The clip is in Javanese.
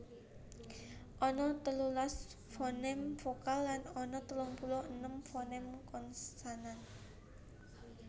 Ana telulas foném vokal lan ana telung puluh enem foném konsonan